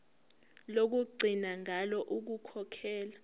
lokugcina ngalo ukukhokhela